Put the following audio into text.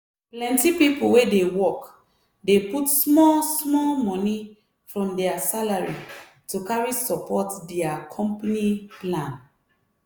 plenty people wey dey work dey put small-small money from their salary to carry support dia company plan.